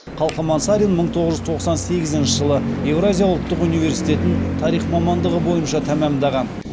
қалқаман сарин мың тоғыз жүз тоқсан сегізінші жылы евразия ұлттық университетін тарих мамандығы бойынша тәмәмдаған